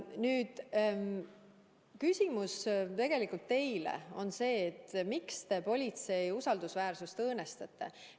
Mul on küsimus tegelikult teile: miks te politsei usaldusväärsust õõnestate?